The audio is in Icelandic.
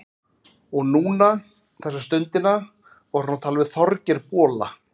Og núna, þessa stundina, var hún að tala við Þorgeir bola.